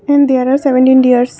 And there are seventeen deers.